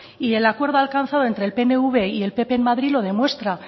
y el acuerdo alcanzado entre el pnv y el pp en madrid lo demuestra